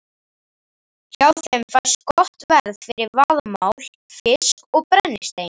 Hjá þeim fæst gott verð fyrir vaðmál, fisk og brennistein.